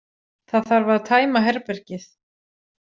Það þarf að tæma herbergið.